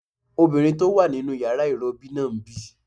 Obìnrin tó wà nínu yàrá ìrọbí náà ń bì